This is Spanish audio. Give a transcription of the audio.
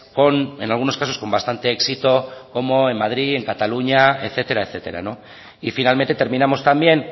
con en algunos casos con bastante éxito como en madrid en cataluña etcétera etcétera y finalmente terminamos también